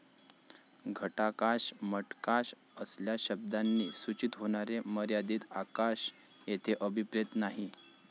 घटाकाश, मठकाश असल्या शब्दांनी सुचित होणारे मर्यादित आकाश येथे अभिप्रेत नाही.